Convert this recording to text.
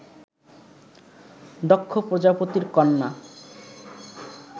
দক্ষ প্রজাপতির কন্যা